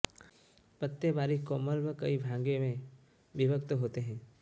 पत्ते बारीक कोमल व कई भागों में विभक्त होते हंै